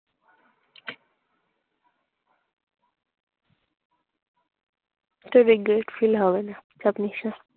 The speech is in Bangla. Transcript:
তুই দেখবি এটা feel হবে না। সব নিঃসার।